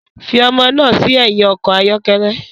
Fi ọmọ náà sí ẹ̀yìn ọkọ̀ ayọ́kẹ́lẹ́